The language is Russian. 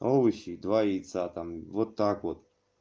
овощи и два яйца там вот так вот